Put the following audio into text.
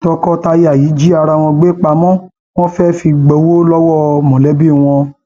tọkọtaya yìí jí ara wọn gbé pamọ wọn fẹẹ fi gbowó lọwọ mọlẹbí wọn